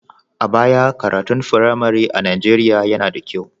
A baya, karatun firamare a Nijeriya yana da kyau.